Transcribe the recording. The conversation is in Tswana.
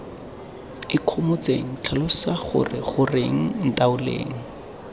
ikgomotseng tlhalosa gore goreng ntaoleng